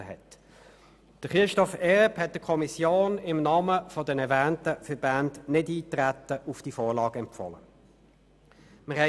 Herr Erb hat der Kommission im Namen der erwähnten Verbände empfohlen, auf diese Vorlage nicht einzutreten.